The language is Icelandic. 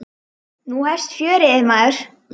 Nú hefst fjörið, maður.